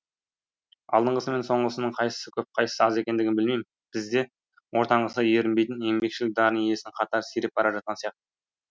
алдыңғысы мен соңғысының қайсысы көп қайсысы аз екендігін білмеймін бізде ортаңғысы ерінбейтін еңбекшіл дарын иесінің қатары сиреп бара жатқан сияқты